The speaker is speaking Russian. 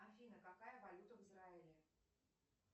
афина какая валюта в израиле